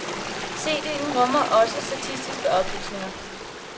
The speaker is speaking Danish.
CDen rummer også statistiske oplysninger.